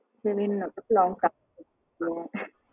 grand ஆ நம்ம ஆ